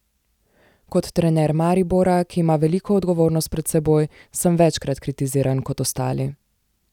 Kot trener Maribora, ki ima veliko odgovornost pred seboj, sem večkrat kritiziran kot ostali.